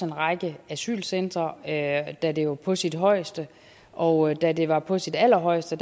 række asylcentre da da det var på sit højeste og da det var på sit allerhøjeste